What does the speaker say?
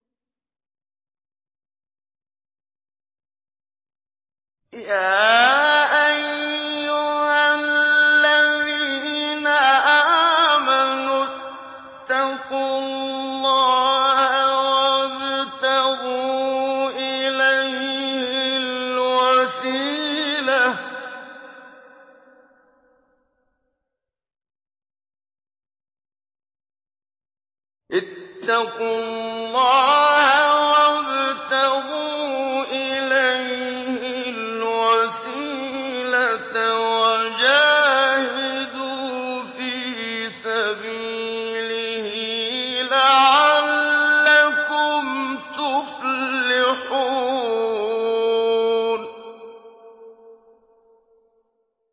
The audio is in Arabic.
يَا أَيُّهَا الَّذِينَ آمَنُوا اتَّقُوا اللَّهَ وَابْتَغُوا إِلَيْهِ الْوَسِيلَةَ وَجَاهِدُوا فِي سَبِيلِهِ لَعَلَّكُمْ تُفْلِحُونَ